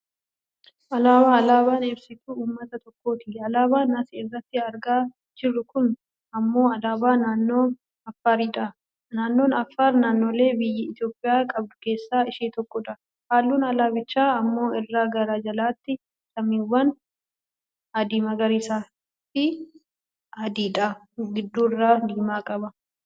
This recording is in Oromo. alaabaa, alaaban ibsituu uummata tokkooti. alaabaan as irratti argaa jirru kun ammoo alaabaa naannoo Affaari dha. naannoon affaar naaannoolee biyyi Itoopiyaa qabdu keessa ishee tokkodha. halluun alaabichaa ammoo irraa gara jalaatti, samaawwii, adii magariisaafi adiidha. gidduurra diimaa qaba.